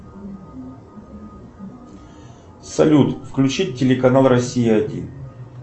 салют включить телеканал россия один